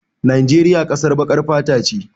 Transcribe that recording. Najeriya ƙasar baƙar fata ce.